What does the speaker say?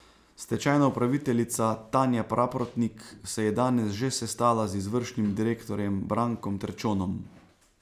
Stečajna upraviteljica Tanja Praprotnik se je danes že sestala z izvršnim direktorjem Brankom Terčonom.